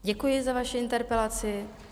Děkuji za vaši interpelaci.